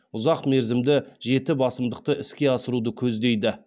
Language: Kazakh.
ұзақ мерзімді жеті басымдықты іске асыруды көздейді